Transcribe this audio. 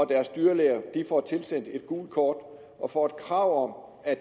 deres dyrlæger får tilsendt et gult kort og får et krav om at